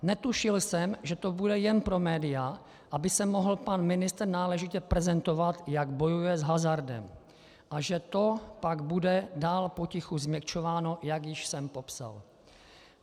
Netušil jsem, že to bude jen pro média, aby se mohl pan ministr náležitě prezentovat, jak bojuje s hazardem, a že to pak bude dál potichu změkčováno, jak již jsem popsal.